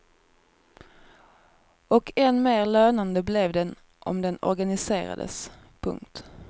Och än mer lönande blev den om den organiserades. punkt